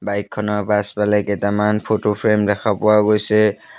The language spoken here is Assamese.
বাইক খনৰ পাছফালে কেইটামান ফটো ফ্ৰেম দেখা পোৱা গৈছে।